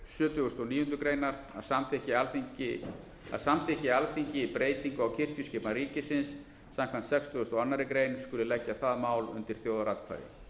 og níundu grein að samþykki alþingi breytingu á kirkjuskipan ríkisins samkvæmt sextugustu og aðra grein skuli leggja það mál undir þjóðaratkvæði